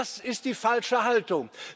Das ist die falsche Haltung.